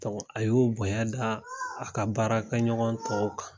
A y'o bonya da a ka baarakɛɲ ka ɲɔgɔn tɔw kan.